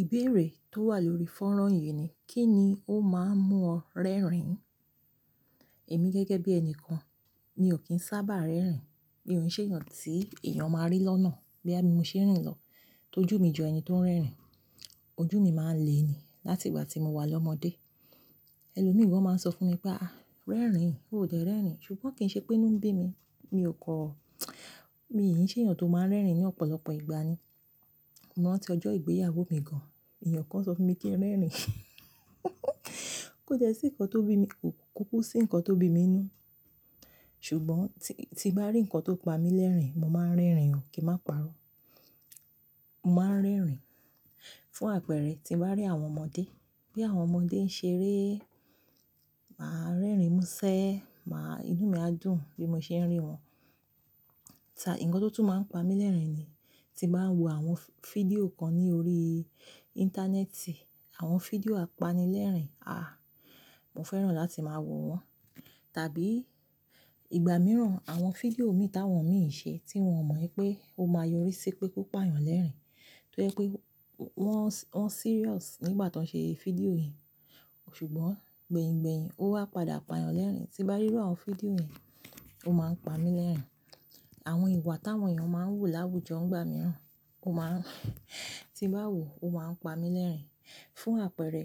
Ìbéèrè tó wà lórí fónrán yìí ni, kí ni ó máa ń mú ọ rẹ́rìn-ín? Èmi gẹ́gẹ́ bí ẹni kan, mi ò kín sábà rẹ́rìn-ín. Mi ò ṣeé yàn tí èèyàn máa rí lọ́nà boya bí mo ṣe ń rìn lọ. Tójú mi jọ ẹni tó ń rẹ́rìn-ín, ojú mi máa ń le ni láti ìgbà tí mo wà lọ́mọdé. Ẹni lórí mi wọ́n máa ń sọ fún mi pé, "àáà, rẹ́rìn-ín, ó de rẹ́rìn-ín." ṣùgbọ́n kì í ṣe pé inú ń bí mi. Mi ò kọ́, mi kì í ṣe èèyàn tó máa ń rẹ́rìn-ín ní ọ̀pọ̀lọpọ̀ ìgbà ni. Mo mọ̀ ọ́n tí ọjọ́ ìgbéyàwó mi gan-an, èèyàn kan sọ fún mi kí n rẹ́rìn-ín,, kó jẹ́ sí nǹkan tó bí mi, ò kúkú sí nǹkan tó bí mi ninu. Ṣùgbọ́n tí bá rí nǹkan tó pa mí lẹ́rìn-ín, mo máa ń rẹ́rìn-ín ò kí máa pa'rọ́. Mo máa ń rẹ́rìn-ín fún àpẹ̀rẹ, tí bá rí àwọn ọmọdé, bí àwọn ọmọdé ń ṣeré, màá rẹ́rìn-ín, múṣẹ́, máa-- inú mi á dùn bí mo ṣe ń rí wọn. Ṣir, nǹkan tó tún máa ń pa mí lẹ́rìn-ín ni, tí bá ń wo àwọn fídíò kan ní orí íńtánẹ́ẹ̀tì, àwọn fídíò apanilẹ́rìn-ín, àáà, mo fẹ́ràn láti máa wo wọ́n. Tàbí ìgbà mìíràn, àwọn fídíò mi ti awọn mi ń ṣe tí wọn mọ̀ wípé ó máa yori sí pé kó pa yàn lẹ́rìn-ín. Tó jẹ́ pé wọ́n, wọ́n serious nígbà tó ń ṣe fídíò yìí, ṣùgbọ́n gbẹ̀yìn-gbẹ̀yìn ó wá padà pa yàn lẹ́rìn-ín. Tí bá rí àwọn fídíò yẹn, ó máa ń pa mí lẹ́rìn-ín. Àwọn ìwà tí àwọn èèyàn máa ń hù láwùjọ ìgbà mìíràn, ó máa ń, tí bá wù ú, ó máa ń pa mí lẹ́rìn-ín. Fún àpẹ̀rẹ,